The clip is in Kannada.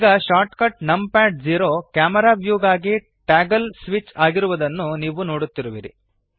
ಈ shortcut num pad zero camera view ಗಾಗಿ ಟಾಗಲ್ ಸ್ವಿಚ್ ಆಗಿರುವದನ್ನು ನೀವು ನೊಡುತ್ತಿರುವಿರಿ